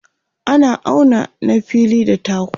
ana auna na fili da taku